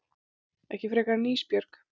Ekki frekar en Ísbjörg.